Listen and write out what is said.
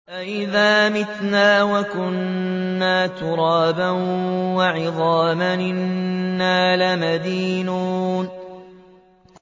أَإِذَا مِتْنَا وَكُنَّا تُرَابًا وَعِظَامًا أَإِنَّا لَمَدِينُونَ